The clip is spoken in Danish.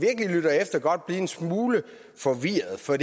altså godt blive en smule forvirret for